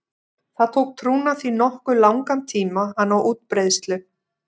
Það tók trúna því nokkuð langan tíma að ná útbreiðslu.